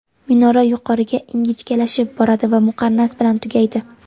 Minora yuqoriga ingichkalashib boradi va muqarnas bilan tugaydi.